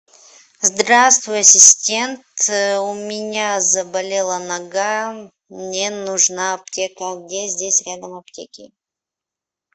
здравствуй ассистент у меня заболела нога мне нужна аптека где здесь рядом аптеки